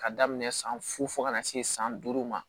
Ka daminɛ san fo ka na se san duuru ma